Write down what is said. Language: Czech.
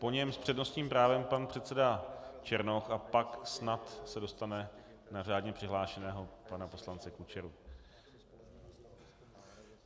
Po něm s přednostním právem pan předseda Černoch a pak se snad dostane na řádně přihlášeného pana poslance Kučeru.